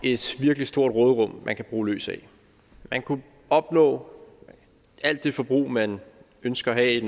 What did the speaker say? er et virkelig stort råderum man kan bruge løs af man kunne opnå alt det forbrug man ønsker at have i